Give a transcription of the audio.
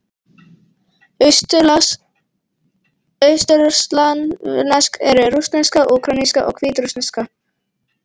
Austurslavnesk eru: rússneska, úkraínska og hvítrússneska.